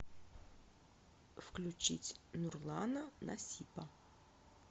включить нурлана насипа